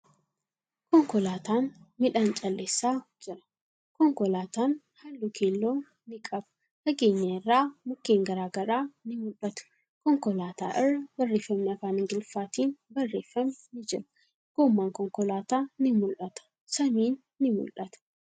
Konkolaatan midhaan calleessaa jira. Konkolaatan haalluu keelloo ni qaba. Fageenya irraa mukkeen garagaraa ni mul'atu. Konkolaataa irra barreeffamni afaan Ingiliffaatin barreeffame ni jira. Goomman konkolaataa ni mul'ata. Samiin ni mul'ata.